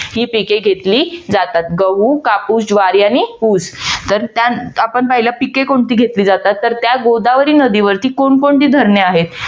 ही पिके घेतली जातात. गहू, कापूस, ज्वारी आणि ऊस तर त्यात आपण पाहिलं पिके कोणती घेतली जातात. तर त्या गोदावरी नदीवरती कोण कोणती धरणे आहेत.